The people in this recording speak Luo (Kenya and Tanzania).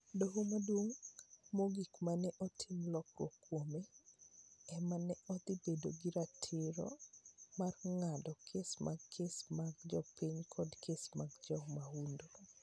Doho Maduong' Mogik ma ne otim lokruok kuome, ema ne dhi bedo gi ratiro mar ng'ado kes mag kes mag jopiny koda kes mag jomahundu.